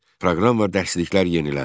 Proqram və dərsliklər yeniləndi.